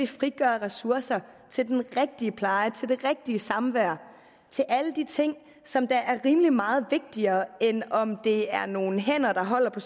frigøre ressourcer til den rigtige pleje til det rigtige samvær til alle de ting som er rimelig meget vigtigere end om det er nogle hænder der holder på